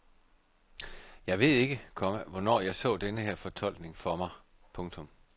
Jeg ved ikke, komma hvornår jeg så denne her fortolkning for mig. punktum